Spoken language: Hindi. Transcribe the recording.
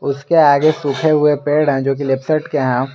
उसके आगे सूखे हुए पेड़ हैं जो कि लिप्टस के हैं।